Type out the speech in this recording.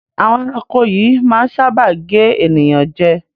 Àwọn ẹranko yíì máa ń sáábà gé ènìyàn jẹ